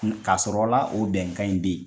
Ka sɔrɔ la o bɛnkan in bɛ ye.